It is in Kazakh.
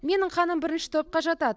менің қаным бірінші топқа жатады